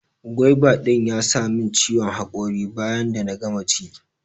gwaiva din ya sa min ciwon hakori bayan da na gama ci